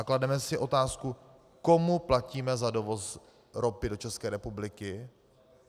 A klademe si otázku, komu platíme za dovoz ropy do České republiky?